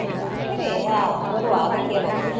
ಸರಿ ಹಾ ಬರುವ ಅದಕ್ಕೇನಾಗ್ಬೇಕು.